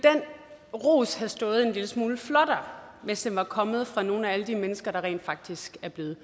ros have stået en lille smule flottere hvis den var kommet fra nogle af alle de mennesker der rent faktisk er blevet